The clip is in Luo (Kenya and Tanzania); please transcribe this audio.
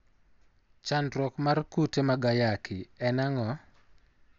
Chandruok mar kute mag ayaki en ang'o?